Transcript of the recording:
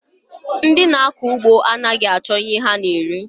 Ndị na-akọ ụgbọ anaghị achọ ihe ha na-eri